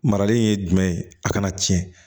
Marali ye jumɛn ye a kana tiɲɛ